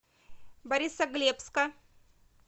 борисоглебска